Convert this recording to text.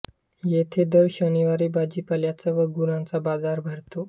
येथे दर शनिवारी भाजीपाल्याचा व गुरांचा बाजार भरतो